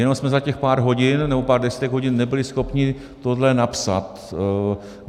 Jenom jsme za těch pár hodin nebo pár desítek hodin nebyli schopni tohle napsat.